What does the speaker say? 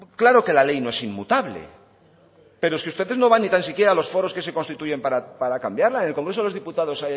claro que la ley no es inmutable pero si ustedes no van ni tan siquiera a los foros que se constituyen para cambiarla en el congreso de los diputados